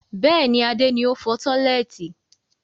Bẹ́ẹ̀ni, Adé ni o fọ tọ́lẹ́ẹ́tì.